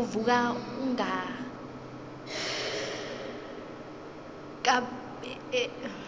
uvuka unghanghabele